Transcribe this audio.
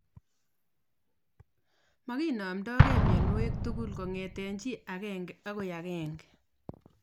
Makinamdoinge mionwek tugul kongete chi agenge agoi age